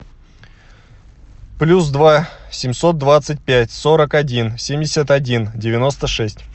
плюс два семьсот двадцать пять сорок один семьдесят один девяносто шесть